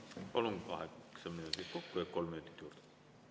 Palun, kaheksa minutit kokku ehk kolm minutit juurde!